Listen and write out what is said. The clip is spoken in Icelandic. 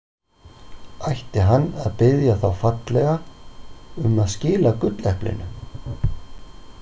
Ætti hann að biðja þá fallega um að skila gulleplinu?